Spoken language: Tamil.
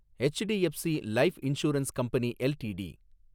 HDFC life insurance company LTD